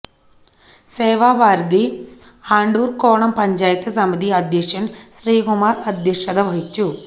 സേവാഭാരതി അണ്ടൂര്ക്കോണം പഞ്ചായത്ത് സമിതി അധ്യക്ഷന് ശ്രീകുമാര് അധ്യക്ഷത വഹിച്ചു